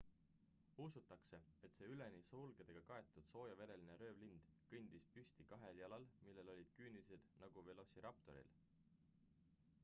usutakse et see üleni sulgedega kaetud soojavereline röövlind kõndis püsti kahel jalal millel olid küünised nagu velociraptoril